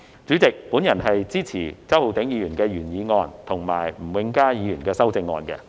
主席，我支持周浩鼎議員的原議案及吳永嘉議員的修正案。